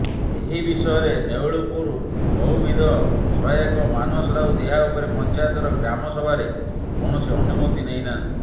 ଏହି ବିଷୟରେ ନେଉଳପୁର ବହୁବିଧି ସହାୟକ ମାନସ ରାଉତ ଏହା ଉପରେ ପଞ୍ଚାୟତର ଗ୍ରାମସଭାରେ କୌଣସି ଅନୁମତି ନେଇନାହାନ୍ତି